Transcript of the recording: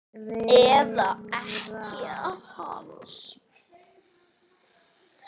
Eða ekkja hans?